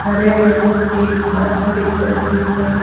हरे रंग की घास दिख रही है।